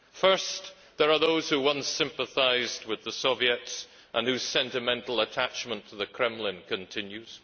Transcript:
First, there are those who once sympathised with the Soviets and whose sentimental attachment to the Kremlin continues.